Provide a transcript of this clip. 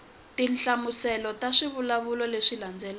tinhlamuselo ta swivulwa leswi landzelaka